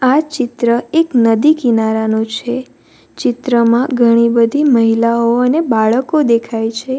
આ ચિત્ર એક નદી કિનારાનું છે ચિત્રમાં ઘણી બધી મહિલાઓ અને બાળકો દેખાય છે.